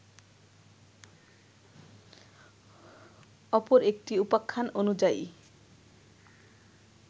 অপর একটি উপাখ্যান অনুযায়ী